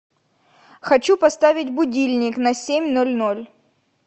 хочу поставить будильник на семь ноль ноль